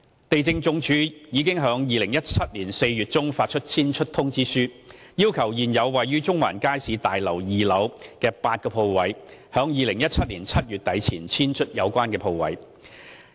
地政總署已於2017年4月中發出遷出通知，要求現時位於中環街市大樓2樓的8個鋪位租戶於2017年7月底前遷出有關鋪位。